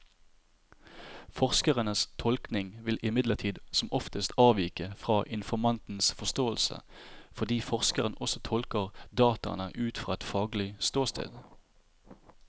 Forskerens tolkning vil imidlertid som oftest avvike fra informantens forståelse, fordi forskeren også tolker dataene ut fra et faglig ståsted.